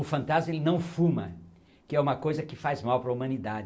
O fantasma ele não fuma, que é uma coisa que faz mal para a humanidade.